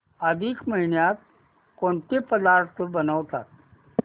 अधिक महिन्यात कोणते पदार्थ बनवतात